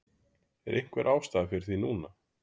Er einhver ástæða fyrir því núna?